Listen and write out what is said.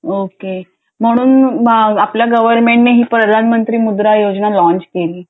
okay म्हणून आपल्या government ने ही प्रधान मंत्री मुद्रा योजना लाँच केली